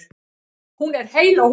Hún er heil á húfi.